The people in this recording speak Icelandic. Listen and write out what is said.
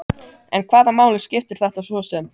En hvaða máli skipti þetta svo sem?